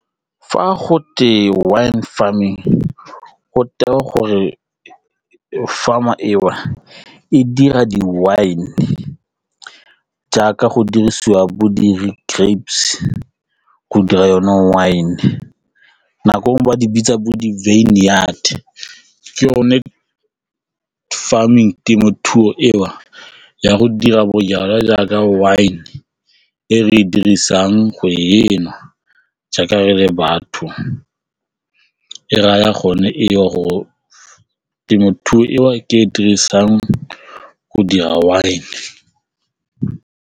Fa gote wine farming go tewa gore farm eo e dira di-winejaaka go dirisiwa bodiri grapes go dira yone wine nako ba di bitsa bo di ke yone farming temothuo eo ya go dira bojalwa jaaka wine e re dirisang go e nwa jaaka re le batho e raya gone e le go temothuo ke e re e dirisang go dira wine.